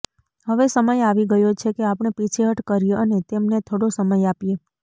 હવે સમય આવી ગયો છે કે આપણે પીછેહઠ કરીએ અને તેમને થોડો સમય આપીએ